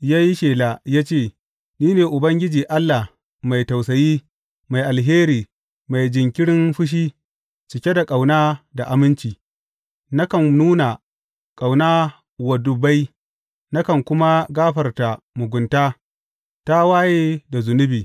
ya yi shela ya ce, Ni ne Ubangiji Allah mai tausayi, mai alheri, mai jinkirin fushi, cike da ƙauna da aminci, nakan nuna ƙauna wa dubbai, nakan kuma gafarta mugunta, tawaye da zunubi.